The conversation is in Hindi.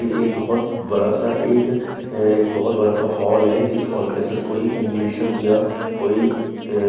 ये एक बहोत बड़ा सा एक अं बहोत बड़ा सा हॉल है जिस हॉल के अंदर कोई एग्जिबिशंस या कोई अ--